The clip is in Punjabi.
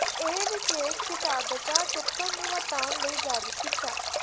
ਇਹ ਵਿਸ਼ੇਸ਼ ਕਿਤਾਬਚਾ ਿਚਪਕਣ ਨੂੰ ਹਟਾਉਣ ਲਈ ਜਾਰੀ ਕੀਤਾ